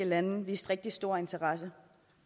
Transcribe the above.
lande viste rigtig store interesse